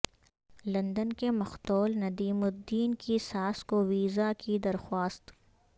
London کے مقتول ندیم الدین کی ساس کو ویزا کی درخواست